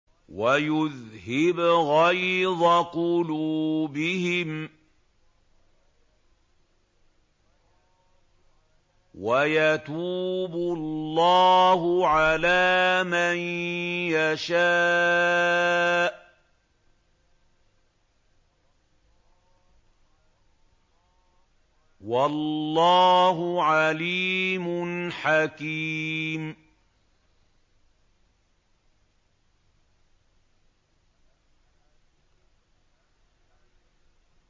وَيُذْهِبْ غَيْظَ قُلُوبِهِمْ ۗ وَيَتُوبُ اللَّهُ عَلَىٰ مَن يَشَاءُ ۗ وَاللَّهُ عَلِيمٌ حَكِيمٌ